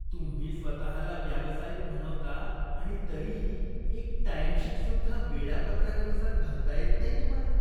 तुम्ही स्वतःला व्यावसायिक म्हणवता आणि तरीही एक टाइमशीटसुद्धा वेळापत्रकानुसार भरता येत नाही तुम्हाला.